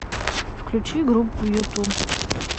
включи группу юту